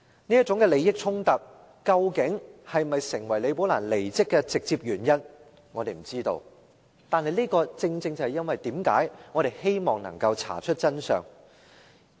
這種利益衝突究竟是否構成李寶蘭離職的直接原因，我們不知道，但這正正是我們希望能夠查出真相的原因。